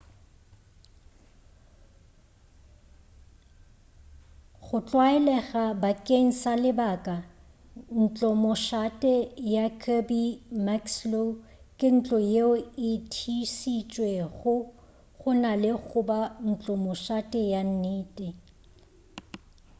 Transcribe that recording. go tlwaelega bakeng sa lebaka ntlomošate ya kirby muxloe ke ntlo yeo e thiišitšwego go na le goba ntlomošate ya nnete